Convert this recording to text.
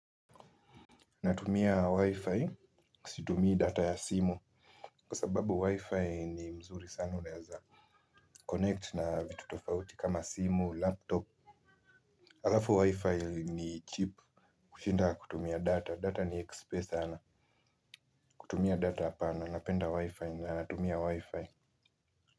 Natumia wi-fi situmii data ya simu kwa sababu wi-fi ni mzuri sana unaeza connect na vitu tofauti kama simu laptop alafu wi-fi ni cheap kushinda kutumia data data ni expe sana kutumia data hapana napenda wi-fi na natumia wi-fi.